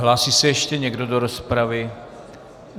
Hlásí se ještě někdo do rozpravy?